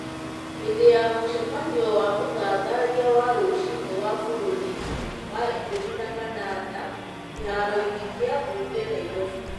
hĩndĩ ya mũcemanio wa ũthathaiya wa rũcinĩ wa bũrũri wa ikũmi na kanana, kĩharoinĩ kĩa ,mbunge Nairobi.